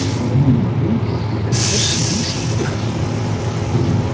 Um hann er þessi vísa til.